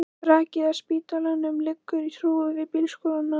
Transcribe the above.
Brakið af spítalanum liggur í hrúgu við bílskúrana.